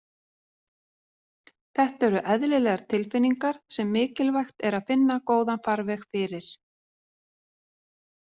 Þetta eru eðlilegar tilfinningar sem mikilvægt er að finna góðan farveg fyrir.